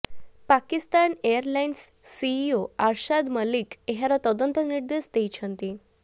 Pakistan airlines CEO Arshad Malik ଏହାର ତଦନ୍ତ ନିର୍ଦ୍ଦେଶ ଦେଇଛନ୍ତି